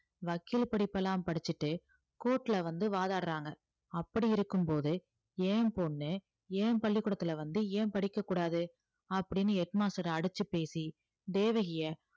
வக்கீல் படிப்பெல்லாம் படிச்சுட்டு court ல வந்து வாதாடுறாங்க அப்படி இருக்கும்போது என் பொண்ணு என் பள்ளிக்கூடத்துல வந்து ஏன் படிக்க கூடாது அப்படீன்னு head master அடிச்சு பேசி தேவகியை